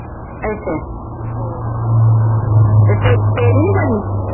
ਅਸ਼ਾ ਹੋਰ ਤੇ ਤੇਰੀ ਤੇਰੀ ਨਹੀਂ ਬਣੀ